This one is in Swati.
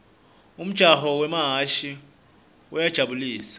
umjaho wemahhashi uyajabu lisa